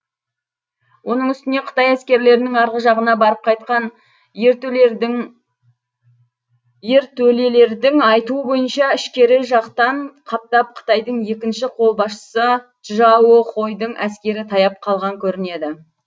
оның үстіне қытай әскерлерінің арғы жағына барып қайтқан ертөлелердің айтуы бойынша ішкері жақтан қаптап қытайдың екінші қолбасшысы чжао хойдың әскері таяп қалған көрінеді